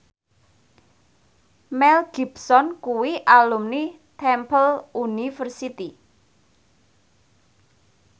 Mel Gibson kuwi alumni Temple University